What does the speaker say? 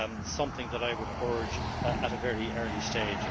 something that I would urge at a very early stage.